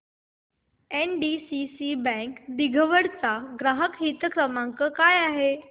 NDCC bank दिघवड चा ग्राहक हित क्रमांक काय आहे